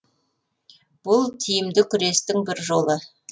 бұл тиімді күрестің бір жолы